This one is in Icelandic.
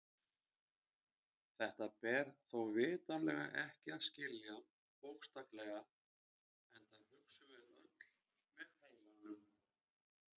Þetta ber þó vitanlega ekki að skilja bókstaflega enda hugsum við öll með heilanum.